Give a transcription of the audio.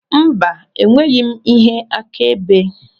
Mba, enweghị m ihe akaebe.